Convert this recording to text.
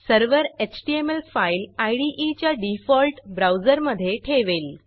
server HTML file IDE च्या default ब्राऊजरमधे ठेवेल